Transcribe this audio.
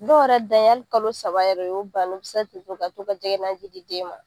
Dɔw yɛrɛ dan ye hali kalo saba ye , o y'o bannen u bi se ten ka to ka jɛgɛnanji di den ma.